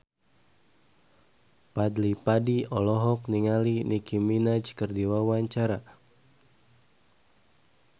Fadly Padi olohok ningali Nicky Minaj keur diwawancara